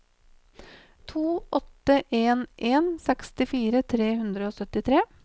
to åtte en en sekstifire tre hundre og syttitre